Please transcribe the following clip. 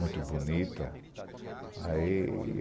Muito bonita. Aí